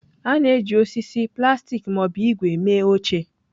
A na-eji osisi, plastik ma ọ bụ ígwè mee oche.